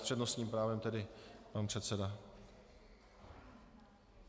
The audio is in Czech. S přednostním právem tedy pan předseda.